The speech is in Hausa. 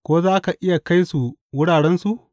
Ko za ka iya kai su wurarensu?